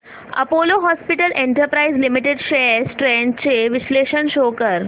Apollo hospitals enterprise limited shares trends चे विश्लेषण show कर